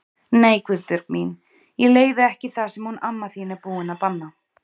Nei Guðbjörg mín, ég leyfi ekki það sem hún amma þín er búin að banna